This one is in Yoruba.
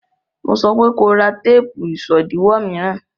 Mo sọpé ko ra téèpù ìṣòdiwọ̀ mìíràn!